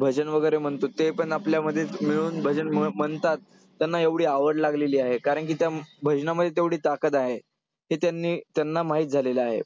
भजन वगैरे म्हणतो ते पण आपल्यामध्ये मिळून भजन म्हणतात. त्यांना एवढी आवड लागलेली आहे कारण की त्या भजनामध्ये तेवढी ताकद आहे. हे त्यांनी त्यांना माहित झालेलं आहे.